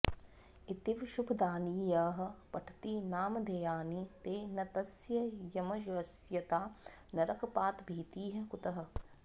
इतीव शुभदानि यः पठति नामधेयानि ते न तस्य यमवश्यता नरकपातभीतिः कुतः